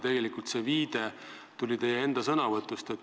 Tegelikult see viide tuli teie enda sõnavõtust.